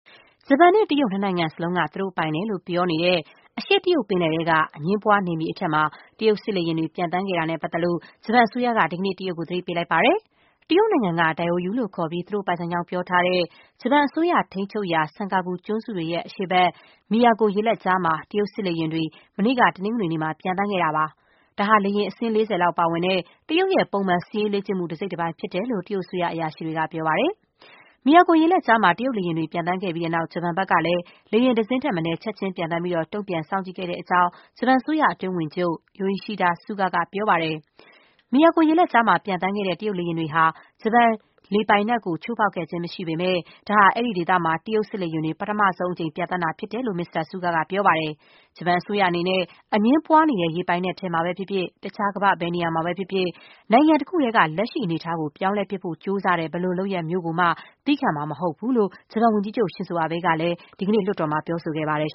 ဂျပန်နဲ့ တရုတ် နှစ်နိုင်ငံစလုံးက သူတို့ပိုင်တယ်လို့ ပြောနေတဲ့ အရှေ့တရုတ်ပင်လယ်ထဲက အငြင်းပွားနယ်မြေအထက်မှာ တရုတ် စစ် လေယာဉ်တွေ ပျံသန်းခဲ့တာနဲ့ပတ်သက်လို့ ဂျပန်အစိုးရက ဒီကနေ့ တရုတ်ကို သတိပေးလိုက်ပါတယ်။ တရုတ်နိုင်ငံက Diaoyu လို့ခေါ်ပြီး သူတို့ ပိုင်ဆိုင်ကြောင်းပြောထားတဲ့၊ ဂျပန်အစိုးရထိန်းချုပ်ရာ Senkaku ကျွန်းစုတွေရဲ့ အရှေ့ဘက် Miyako ရေလက်ကြားမှာ တရုတ် စစ်လေယာဉ်တွေ မနေ့က တနင်္ဂနွေနေ့မှာ ပျံသန်းခဲ့တာပါ။ ဒါဟာ လေယာဉ် အစင်း ၄၀ လောက်ပါဝင်တဲ့ တရုတ်ရဲ့ ပုံမှန် စစ်ရေးလေ့ကျင့်မှု တစိတ်တပိုင်း ဖြစ်တယ်လို့ တရုတ်အစိုးရ အရာရှိတွေက ပြောပါတယ်။ Miyako ရေလက်ကြားမှာ တရုတ် လေယာဉ်တွေ ပျံသန်းခဲ့ပြီးတဲ့ နောက် ဂျပန်ဘက်ကလည်း လေယာဉ်တစင်းထက်မနည်း ချက်ချင်း ပျံသန်းပြီး တုံ့ပြန် စောင့်ကြည့်ခဲ့တဲ့အကြောင်း ဂျပန်အစိုးရ အတွင်းဝန်ချုပ် Yoshihide Suga က ပြောပါတယ်။ Miyako ရေလက်ကြားမှာ ပျံသန်းခဲ့တဲ့ တရုတ်လေယာဉ်တွေဟာ ဂျပန် လေပိုင်နက်ကို ချိုးဖောက်ခဲ့ခြင်း မရှိပေမဲ့ ဒါဟာ အဲဒီဒေသမှာ တရုတ်စစ်လေယာဉ်တွေ ပထမဆုံးအကြိမ် ပျံသန်းတာဖြစ်တယ်လို့ မစ္စတာ Suga က ပြောပါတယ်။ ဂျပန်အစိုးရ အနေနဲ့ အငြင်းပွားနေတဲ့ ရေပိုင်နက်ထဲမှာပဲဖြစ်ဖြစ်၊ တခြား ကမ္ဘာ့ ဘယ်နေရာမှာပဲဖြစ်ဖြစ် နိုင်ငံတခုတည်းက လက်ရှိ အနေအထားကို ပြောင်းလဲပစ်ဖို့ ကြိုးစားတဲ့ ဘယ်လုပ်ရပ်မျိုးကိုမှ သည်းခံမှာမဟုတ်ဘူးလို့ ဂျပန်ဝန်ကြီးချုပ် ရှင်ဇိုအာဘေး က ဒီကနေ့ လွှတ်တော်မှာ ပြောဆိုသွားပါတယ်။